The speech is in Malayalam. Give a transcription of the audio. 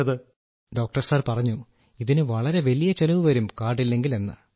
രാജേഷ് പ്രജാപതി ഡോക്ടർസാർ പറഞ്ഞു ഇതിന് വളരെ വലിയ ചെലവ് വരും കാർഡില്ലെങ്കിൽ എന്ന്